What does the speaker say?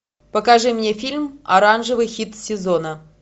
покажи мне фильм оранжевый хит сезона